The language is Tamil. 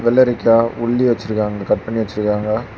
வெள்ளரிக்கா உல்லி வச்சிருக்காங்க அது கட் பண்ணி வச்சிருக்காங்க.